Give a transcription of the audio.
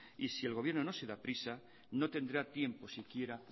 y si el gobierno no se da prisa no tendrá tiempo siquiera